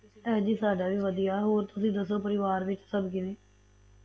ਹਾਂਜੀ ਸਾਡਾ ਵੀ ਵਧੀਆ ਹੋਰ ਤੁਸੀ ਦਸੋ ਪਰਿਵਾਰ ਵਿੱਚ ਸਭ ਕਿਵੇਂ